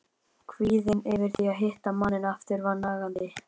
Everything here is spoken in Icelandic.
Kvíðinn yfir því að hitta manninn aftur var nagandi.